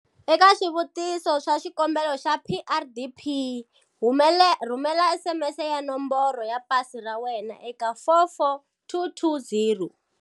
Eka swivutiso swa xikombelo xa PrDP, rhumela SMS ya nomboro ya pasi ra wena eka 44220.